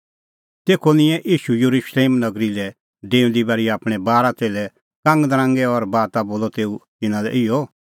तेखअ निंयैं ईशू येरुशलेम नगरी लै डेऊंदी बारी आपणैं बारा च़ेल्लै कांगनरांगै और बाता बोलअ तेऊ तिन्नां लै इहअ